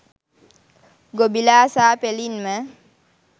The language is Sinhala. ගොබිලා සා.පෙලින්ම